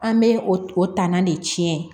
An bɛ o ta na de tiɲɛ